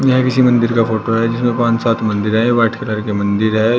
यह किसी मंदिर का फोटो है जिसमें पांच सात मंदिर है व्हाइट कलर के मंदिर है।